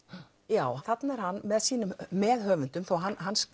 já þarna er hann með sínum meðhöfundum þó hann